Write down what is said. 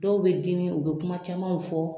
Dɔw be dimi u be kuma camanw fɔ